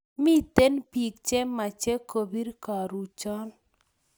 Miten pik che mache kopir karuchon